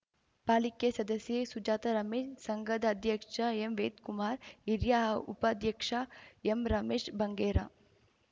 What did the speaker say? ಪಾಲಿಕೆ ಸದಸ್ಯೆ ಸುಜಾತ ರಮೇಶ್‌ ಸಂಘದ ಅಧ್ಯಕ್ಷ ಎಂವೇದ್ ಕುಮಾರ್‌ ಹಿರಿಯ ಉಪಾಧ್ಯಕ್ಷ ಎಂರಮೇಶ್‌ ಬಂಗೇರ